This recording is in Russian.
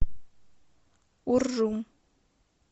уржум